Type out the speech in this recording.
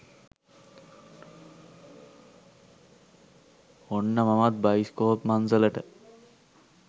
ඔන්න මමත් බයිස්කෝප් මංසලට